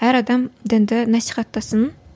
әр адам дінді насихаттасын